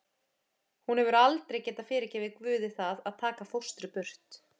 Hún hefur aldrei getað fyrirgefið Guði það að taka fóstru burt.